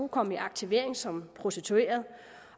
komme i aktivering som prostitueret